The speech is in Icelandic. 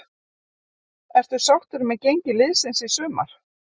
Ertu sáttur með gengi liðsins í sumar?